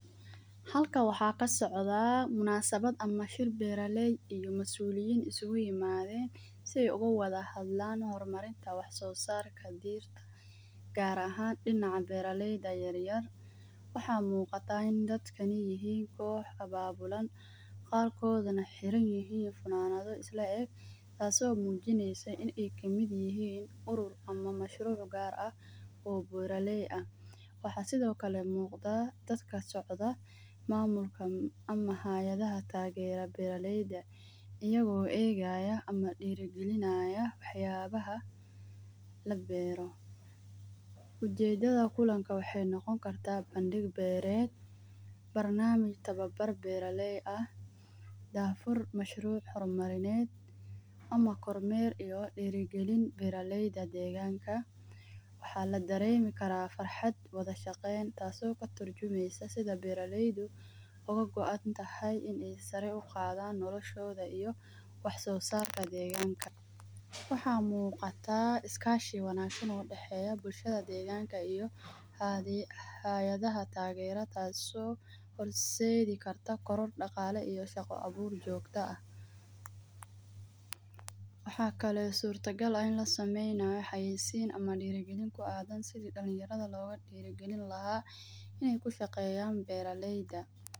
Halkaan waxa kasocdaa munasabad ama shiil beera lay iyo masuliyeen iskugu imadheen si ay ugawad hadlaan hormarinta wax so sarka gaar ahaan dinaca beera layda yaryar. Waxa muqataa inta dadka a hiin koox ababulan gaar kodhana xirin yihiin funanadha isla eeg taas oo mujinaysa in ay kamid yihiin urur ama mashruuc gaar aah oo beer lay aah. Waxa sidho kale muqda dadka socda mamulkan ama hayadhaha tageera beera layda iyago egaya ama dirigilinaya wax yabaha la beero.U jeedadha kulanka waxay noqoni karta bandiq beered barnamij tawabar beer lay aah dafur mashruc hormarneed ama koor meerbiyo diragaliin beera layda deeganaka. Waxa laderemi kara farxad wadhashaqeen taas oo katurjumaysa sidha beera layda ogagontahay in ay sara uqaadan nolashooda iyo wax so sarka deeganka. Waxa muqata iskashi wanagsan oo udaxeya bulshada deganka iyo hayadhaha tageeraha taas oo horsedhi karta dagala iyo shaqa abuur joogta aah. Wax kala surta gaal in lasameynayo haisiin ama diragaliin ku adan si dalinyardha loga diragliin laha in ay kushaqeyan beera layda.